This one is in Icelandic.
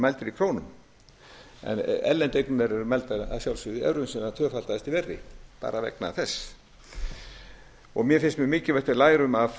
mældir í krónum en erlendu eignirnar eru að sjálfsögðu mældar í evrum sem tvöfaldaðist í verði bara vegna þess mér finnst mjög mikilvægt að við lærum af